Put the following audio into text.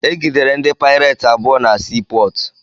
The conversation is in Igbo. Egidere ndị paireti abụọ na sii pọọtụ.